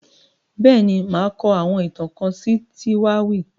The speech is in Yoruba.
Bẹ́ẹ̀ ni, màá kọ àwọn ìtàn kan sí Títáwì